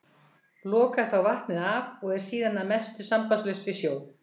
Lokaðist þá vatnið af og er síðan að mestu sambandslaust við sjó.